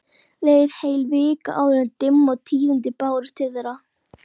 Leið heil vika áður en dimm tíðindin bárust til þeirra.